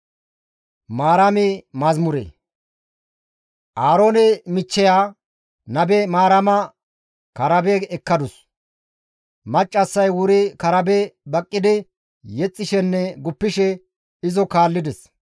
Aaroone michcheya, nabe Maarama karabe ekkadus; maccassay wuri karabe baqqidi yexxishenne guppishe izo kaallides.